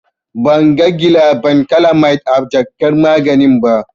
Ban ga gilabankilamid a jakar maganin ba.